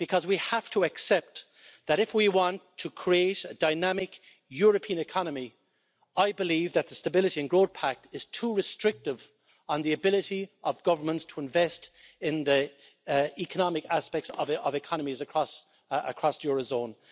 Because we have to accept that if we want to create a dynamic European economy, I believe that the Stability and Growth Pact is too restrictive on the ability of governments to invest in the economic aspects of economies across the eurozone.